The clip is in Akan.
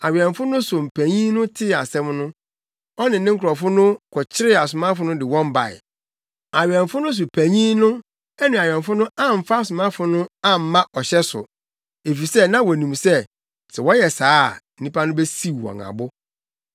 Awɛmfo no so panyin no tee asɛm no, ɔne ne nkurɔfo no kɔkyeree asomafo no de wɔn bae. Awɛmfo no so panyin no ne awɛmfo no amfa asomafo no amma ɔhyɛ so, efisɛ na wonim sɛ, sɛ wɔyɛ saa a, nnipa no besiw wɔn abo.